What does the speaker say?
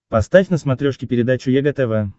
поставь на смотрешке передачу егэ тв